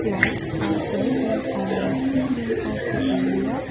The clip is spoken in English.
lights are present on the ceiling of the area.